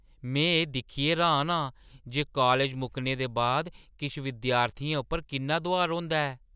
में एह् दिक्खियै र्‌हान आं जे कालज मुक्कने दे बाद किश विद्यार्थियें उप्पर किन्ना दुहार होंदा ऐ।